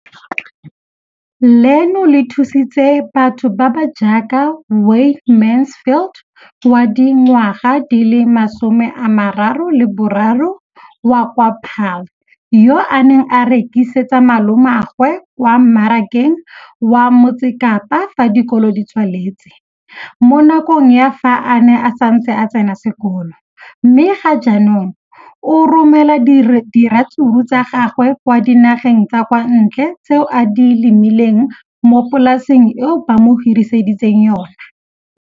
Leno le thusitse batho ba ba jaaka Wayne Mansfield, 33, wa kwa Paarl, yo a neng a rekisetsa malomagwe kwa Marakeng wa Motsekapa fa dikolo di tswaletse, mo nakong ya fa a ne a santse a tsena sekolo, mme ga jaanong o romela diratsuru tsa gagwe kwa dinageng tsa kwa ntle tseo a di lemileng mo polaseng eo ba mo hiriseditseng yona.